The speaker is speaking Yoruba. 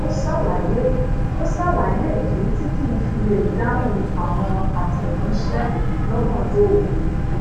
ó ṣàlàyé ìdí tí kii fi lè dáhùn àwọn atẹ̀ranṣe lọ́gajnọ́ oru